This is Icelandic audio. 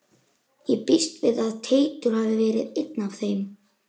Ég býst við að Teitur hafi verið einn af þeim.